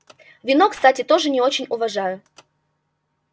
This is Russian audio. вино кстати тоже не очень уважаю